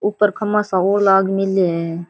ऊपर खम्भा सा और लाग मेल्या है।